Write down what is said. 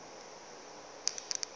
o ka re o be